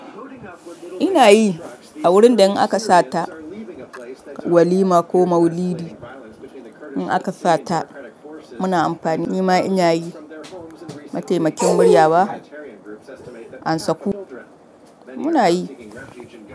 Ina yi a wurin da in aka sata walima ko maulidi, in aka sata muna amfani, nima ina yi mataimakin murya ba, an saku. Muna yi.